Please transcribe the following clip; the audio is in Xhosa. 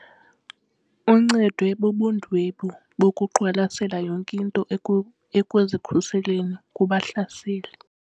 Uncedwe bubundwebi bokuqwalasela yonke into ekuzikhuseleni kubahlaseli.